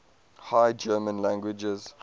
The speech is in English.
high german languages